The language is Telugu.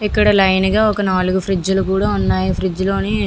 ఇక్కడ లైన్ గా ఒక నాలుగు ఫ్రీడ్జ్ లు కూడా ఉన్నాయి ఫ్రీడ్జ్ లోని --